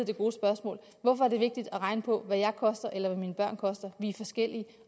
det gode spørgsmål hvorfor er det vigtigt at regne på hvad jeg koster eller hvad mine børn koster vi er forskellige